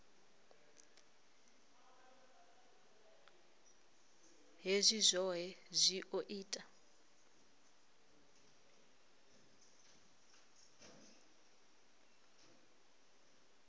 hezwi zwohe zwi o ita